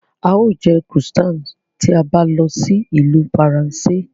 Á ó jẹ́ Croissant tí a bá lọ sí ìlú Faransé